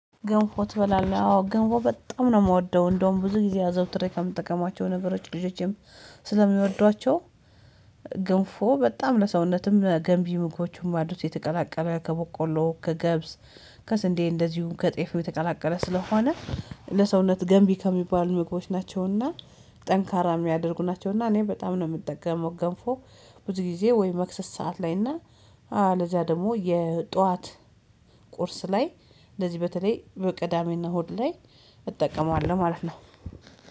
ገንፎ ትበላለህ? አዎ ገንፎ በጣም ነው የምወደው እንደውም ብዙ ጊዜ አዘውትሬ ከምጠቀማቸው ነገሮች ልጆቼም ስለሚወዷቸው። ግንፎ በጣም ለሰውነትም ለገንቢ ምግቦቹም ባዶ ሲተቀላቀለ ከቦቆሎ ከገብስ ከስንዴ እንደዚሁ ከጤፍዬ ተቀላቀለ ስለሆነ ለሰውነት ገንቢ ከሚባሉ ምግቦች ናቸውና ጠንካራ የሚያደርጉ ናቸውና እኔ በጣም ነው የምጠገመው ገንፎ። ብዙ ጊዜ ወይ መክሰስ ሰዓት ላይ እና ለዚያ ደግሞ የጧት ቁርስ ላይ እንደዚህ በተለይ በቅዳሜና እሁድ ላይ እጠቀማለሁ። ማለት ነው